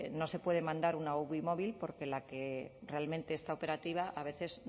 no se puede mandar una uvi móvil porque la que realmente está operativa a veces